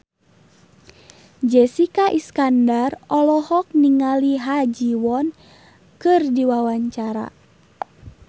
Jessica Iskandar olohok ningali Ha Ji Won keur diwawancara